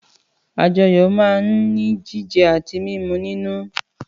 Àjọyọ̀ máa ń ní jíjẹ àti mímu nínú